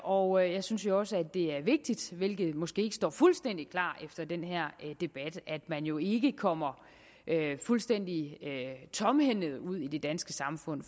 og jeg synes også det er vigtigt hvilket måske ikke står fuldstændig klart efter den her debat at man jo ikke kommer fuldstændig tomhændet ud i det danske samfund